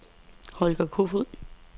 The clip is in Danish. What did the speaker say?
Holger Kofoed